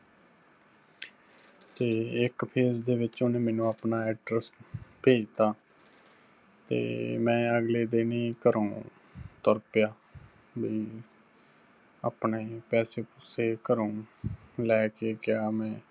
ਤੇ ਇੱਕ phase ਦੇ ਵਿੱਚ ਉਹਨੇ ਮੈਨੂੰ ਆਪਣਾ address ਭੇਜਤਾ, ਤੇ ਮੈਂ ਅਗਲੇ ਦਿੰਨ ਹੀ ਘਰੋਂ ਤੁਰ ਪਿਆ, ਵੀ ਆਪਣੇ ਪੈਸੇ ਪੂਸੇ ਘਰੋਂ ਲੈਕੇ ਗਿਆ ਮੈਂ